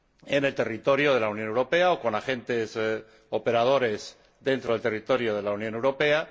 en el territorio de la Unión Europea o con agentes operadores dentro del territorio de la Unión Europea